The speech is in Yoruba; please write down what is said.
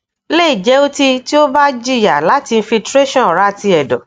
le je oti ti o ba jiya lati infiltration ora ti edo